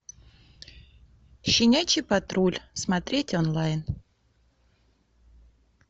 щенячий патруль смотреть онлайн